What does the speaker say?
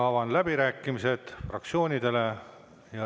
Avan läbirääkimised fraktsioonidele.